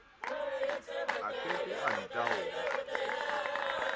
a ke ke a ntaola